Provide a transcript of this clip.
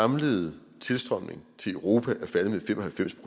samlede tilstrømning til europa er faldet med fem og halvfems